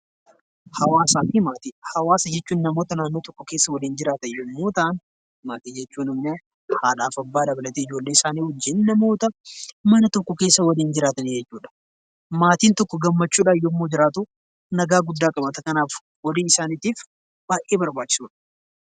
Hawaasa jechuun namoota naannoo tokko keessa waliin jiraatan yommuu ta'an, maatiin jechuun ammoo haadhaaf abbaa dabalatee ijoollee isaanii wajjin namoota mana tokko keessa waliin jiraatan jechuudha. Maatiin tokko gammachuudhaan yeroo jiraatu nagaa guddaa qabaata. Kanaafuu walii isaaniitiif baay'ee barbaachisoodha.